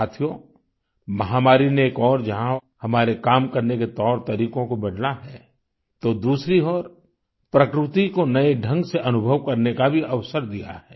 साथियो महामारी ने एक ओर जहाँ हमारे काम करने के तौरतरीकों को बदला है तो दूसरी ओर प्रकृति को नये ढंग से अनुभव करने का भी अवसर दिया है